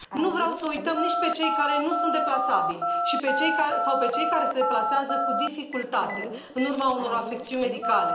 Nu vreau să i uităm nici pe cei care nu sunt deplasabili sau pe cei care se deplasează cu dificultate în urma unor afecțiuni medicale.